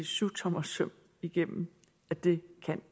syvtommersøm igennem at det